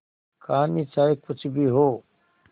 कहानी चाहे कुछ भी हो